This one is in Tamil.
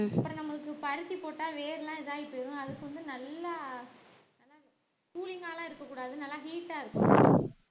அப்புறம் நம்மளுக்கு பருத்தி போட்டா வேர் எல்லாம் இதாயி போயிரும் அதுக்கு வந்து நல்லா நல்லா cooling ங்கலாம் இருக்கக் கூடாது நல்லா heat ஆ இருக்கணும்